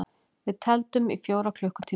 Við tefldum í fjóra klukkutíma!